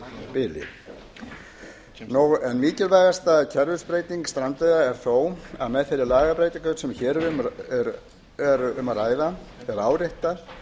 á tveggja vikna tímabili en mikilvægasta kerfisbreyting strandveiða er þó að með þeirri lagabreytingu sem hér er um að ræða er áréttað